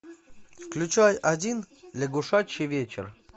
включай один лягушачий вечер